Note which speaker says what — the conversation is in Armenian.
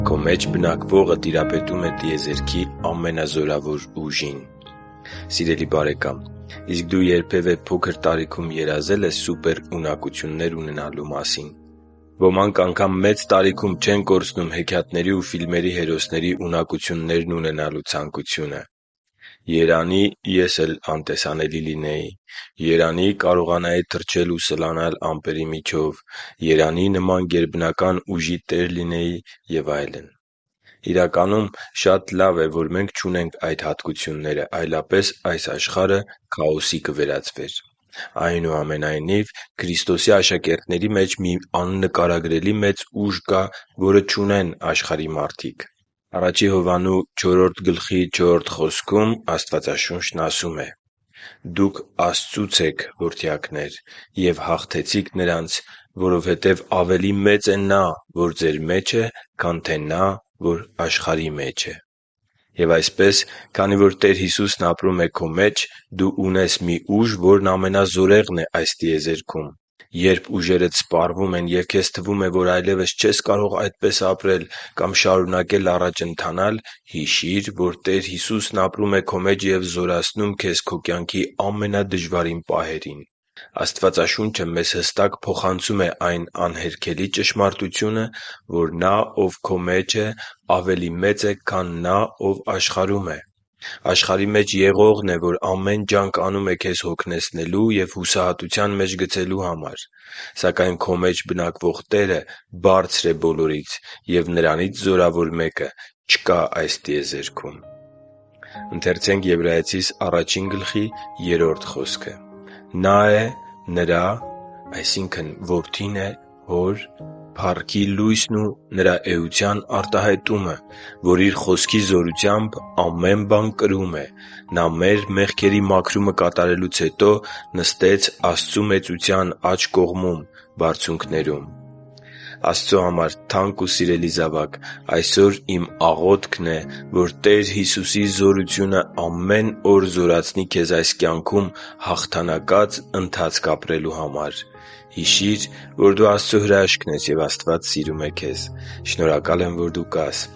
Speaker 1: Քո մեջ բնակվողը տիրապետում է տիեզերքի ամենազորավոր ուժին Սիրելի՛ բարեկամ, իսկ դու փոքր տարիքում երազե՞լ ես սուպերունակություններ ունենալու մասին։ Ոմանք անգամ մեծ տարիքում չեն կորցնում հեքիաթների ու ֆիլմերի հերոսների ունակություններն ունենալու ցանկությունը․․․ «Երանի՜ ես էլ անտեսանելի լինեի…»։ «Երանի՜ կարողանայի թռչել ու սլանալ ամպերի միջով…»։ «Երանի՜ նման գերբնական ուժի տեր լինեի…»։ Եվ այլն։ Իրականում, շատ լավ է, որ մենք չունենք այդ հատկությունները, այլապես այս աշխարհը քաոսի կվերածվեր։ Այնուամենայնիվ, Քրիստոսի աշակերտների մեջ մի աննկարագրելի մեծ ուժ կա, որը չունեն աշխարհի մարդիկ։ Աստվածաշունչն ասում է. «Դուք Աստծուց եք, որդյակնե՛ր, ու հաղթեցիք նրանց, որովհետև ավելի մեծ է Նա, որ ձեր մեջ է, քան թե նա, որ աշխարհի մեջ է» (Ա Հովհաննես 4․4)։ Եւ այսպես, քանի որ Տեր Հիսուսն ապրում է քո մեջ, դու ունես մի ուժ, որն ամենազորեղն է այս տիեզերքում։ Երբ ուժերդ սպառվում են և քեզ թվում է, որ այլևս չես կարող այդպես ապրել կամ շարունակել առաջ ընթանալ, հիշի՛ր, որ Տեր Հիսուսն ապրում է քո մեջ ու զորացնում քեզ քո կյանքի ամենադժվարին պահերին։ Աստվածաշունչը մեզ հստակ փոխանցում է այն անհերքելի ճշմարտությունը, որ Նա, Ով քո մեջ է, ավելի մեծ է, քան նա, ով աշխարհում է։ Աշխարհի մեջ եղողն է, որ ամեն ջանք անում է քեզ հոգնեցնելու և հուսահատության մեջ գցելու համար։ Սակայն քո մեջ բնակվող Տերը բարձր է բոլորից, և Նրանից զորավոր մեկը չկա այս տիեզերքում։ «Նա է Նրա փառքի լույսն ու Նրա էության արտահայտումը, որ Իր Խոսքի զորությամբ ամեն բան կրում է։ Նա մեր մեղքերի մաքրումը կատարելուց հետո նստեց Աստծու մեծության աջ կողմում՝ բարձունքներում» (Եբրայեցիս 1․3)։ Աստծո համար թանկ ու սիրելի՛ զավակ, այսօր իմ աղոթքն է, որ Տեր Հիսուսի զորությունը ամեն օր զորացնի քեզ այս կյանքում հաղթանակած ընթացք ապրելու համար։ Հիշի՛ր, որ դու Աստծո հրաշքն ես, և Աստված սիրում է քեզ։ Շնորհակալ եմ, որ դու կա՛ս